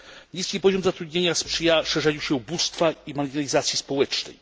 Niski poziom zatrudnienia sprzyja szerzeniu się ubóstwa i marginalizacji społecznej.